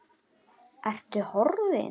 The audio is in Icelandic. Ertu horfin?